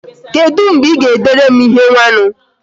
kedu mgbe I ga-edere m ihe nwanu?